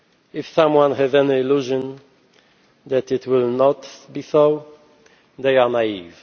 If anyone has any illusions that it will not be so, they are